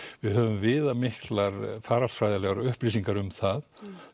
við höfum viðamiklar faraldsfræðilegar upplýsingar um það